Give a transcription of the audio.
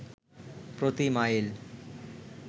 প্রতি মাইল